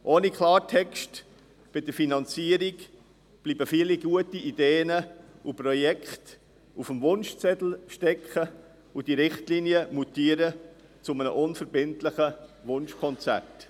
Ohne Klartext bei der Finanzierung bleiben viele gute Ideen und Projekte auf dem Wunschzettel stecken, und die Richtlinien mutieren zu einem unverbindlichen Wunschkonzert.